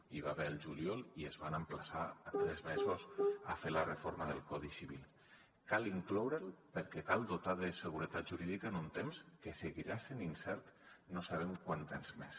n’hi va haver al juliol i es van emplaçar en tres mesos a fer la reforma del codi civil cal incloure la perquè cal dotar de seguretat jurídica en un temps que seguirà sent incert no sabem quant temps més